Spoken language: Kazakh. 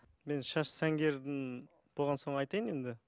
мен шаш сәнгердің болған соң айтайын енді